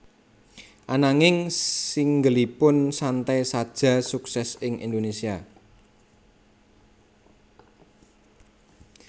Ananging singleipun Santai Saja sukses ing Indonesia